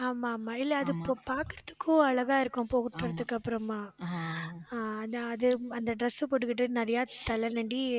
ஆமா ஆமா இல்ல அது இப்ப பார்க்கிறதுக்கும் அழகா இருக்கும் அப்புறமா ஆஹ் அது அந்த dress அ போட்டுக்கிட்டு நிறைய தலை